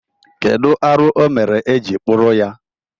Kedụ arụ ọ mere e ji kpụrụ ya?